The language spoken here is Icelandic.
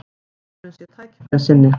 Maðurinn sé tækifærissinni